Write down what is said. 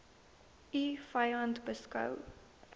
u vyand beskou